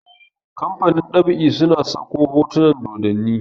kamfanin ɗab'i suna Sako hotunan dodanni